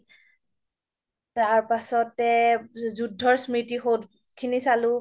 তাৰ পাছতে যুদ্ধ স্মৃতিসৌধ খিনি চালো